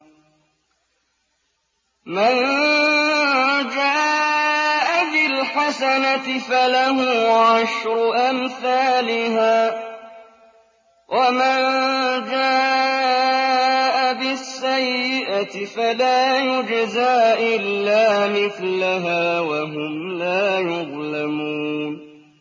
مَن جَاءَ بِالْحَسَنَةِ فَلَهُ عَشْرُ أَمْثَالِهَا ۖ وَمَن جَاءَ بِالسَّيِّئَةِ فَلَا يُجْزَىٰ إِلَّا مِثْلَهَا وَهُمْ لَا يُظْلَمُونَ